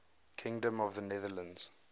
kingdom of the netherlands